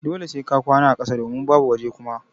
Dole sai ka kwana a ƙasa domin babu waje Kuma.